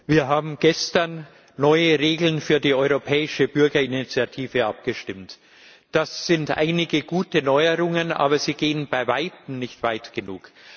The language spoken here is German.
Herr Präsident! Wir haben gestern über neue Regeln für die Europäische Bürgerinitiative abgestimmt. Das sind einige gute Neuerungen, aber sie gehen bei Weitem nicht weit genug.